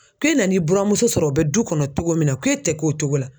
K'e nan'i buramuso sɔrɔ o bɛ du kɔnɔ togo min na, ko e tɛ k'o cogo la